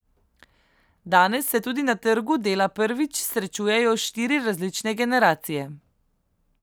Danes se tudi na trgu dela prvič srečujejo štiri različne generacije.